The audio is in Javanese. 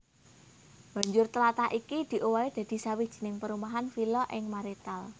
Banjur tlatah iki diowahi dadi sawijining perumahan vila ing Marienthal